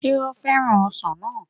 Sé ó fẹ́ràn ọsàn náà